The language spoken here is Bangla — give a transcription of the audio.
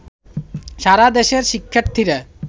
সারা দেশের শিক্ষার্থীরা